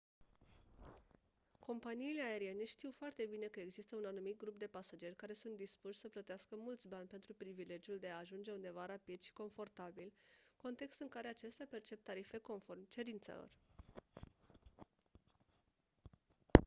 companiile aeriene știu foarte bine că există un anumit grup de pasageri care sunt dispuși să plătească mulți bani pentru privilegiul de a ajunge undeva rapid și confortabil context în care acestea percep tarife conform cerințelor